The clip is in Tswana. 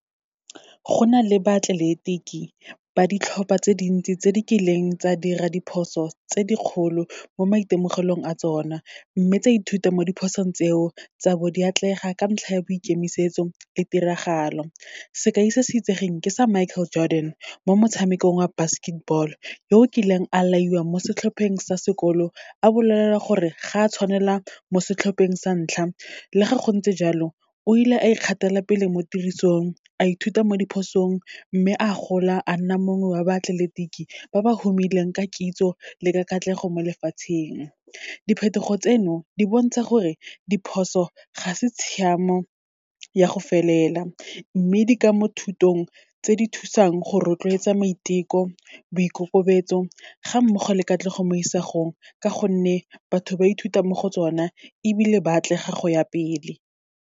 Go na le baatleletiki ba ditlhopha tse dintsi tse di kileng tsa dira diphoso tse dikgolo mo maitemogelong a tsona, mme tsa ithuta mo diphosong tseo, tsa bo di atlega ka ntlha ya boikemisetso le tiragalo. Sekai se se itsegeng ke sa Michael Jordan, mo motshamekong wa basketball, yo kileng a laiwa mo setlhopheng sa sekolo, a bolelelwa gore ga tshwanela mo setlhopheng sa ntlha. Le ga gontse jalo, o ile a ikgathela pele mo tirisong, a ithuta mo diphosong, mme a gola a nna mongwe wa baatleletiki ba ba humileng ka kitso le ka katlego mo lefatsheng. Diphetogo tseno, di bontsha gore diphoso ga se tshiamo ya go felela, mme di ka mo thutong tse di thusang go rotloetsa maiteko, boikokobetso, ga mmogo le katlego mo isagong, ka gonne batho ba ithuta mo go tsone ebile ba atlega go ya pele.